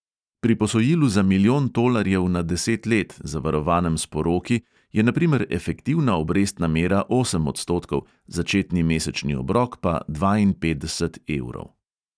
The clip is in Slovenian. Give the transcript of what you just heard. Pri posojilu za milijon tolarjev na deset let, zavarovanem s poroki, je na primer efektivna obrestna mera osem odstotkov, začetni mesečni obrok pa dvainpetdeset evrov.